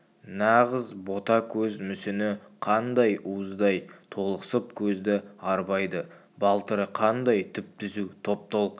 нағыз бота көз мүсіні қандай уыздай толықсып көзді арбайды балтыры қандай түп-түзу топ-толық